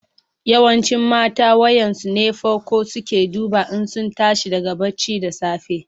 Yawancin mata wayan su ne fako suke duba in sun tashi daga barci da safe.